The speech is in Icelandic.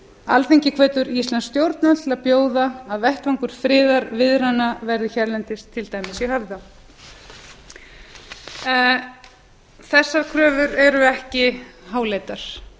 alþingi hvetur íslensk stjórnvöld til að bjóða að vettvangur friðarviðræðnanna verði hérlendis til dæmis í höfða þessar kröfur eru ekki háleitar